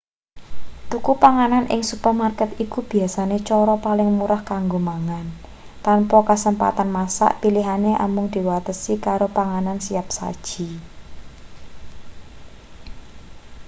tuku panganan ing supermarket iku biasane cara paling murah kanggo mangan tanpa kasempatan masak pilihane amung diwatesi karo panganan siap saji